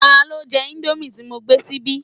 Tani o jẹ indomie ti mo gbé síbí?